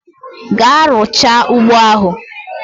Gaa rucha ụgbọ ahu!